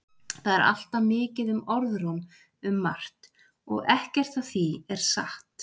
Það er alltaf mikið um orðróm um margt og ekkert af því er satt.